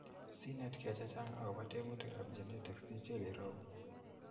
Sinet ke chechang agopo teputic ap gennetics i chil irou.